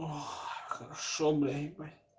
о хорошо бля ебать